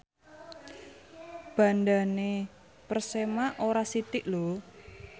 bandhane Persema ora sithik lho